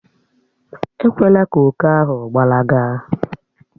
Èkwelà kà òkè ahụ gbalaga